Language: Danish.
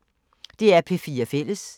DR P4 Fælles